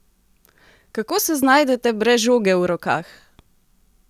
Kako se znajdete brez žoge v rokah?